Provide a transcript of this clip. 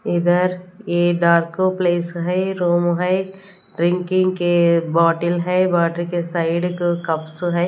इधर ये dark place है रूम है ड्रिंकिंग के बॉटल हैं बॉटल के साइड क कप्स हैं।